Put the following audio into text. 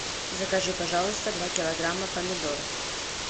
закажи пожалуйста два килограмма помидор